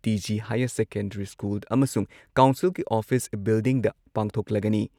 TG. Higher secondary school ꯑꯃꯁꯨꯡ ꯀꯥꯎꯟꯁꯤꯜꯒꯤ office ꯕꯤꯜꯗꯤꯡꯗ ꯄꯥꯡꯊꯣꯛꯂꯒꯅꯤ ꯫